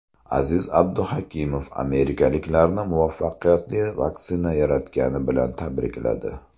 Aziz Abduhakimov amerikaliklarni muvaffaqiyatli vaksina yaratgani bilan tabrikladi.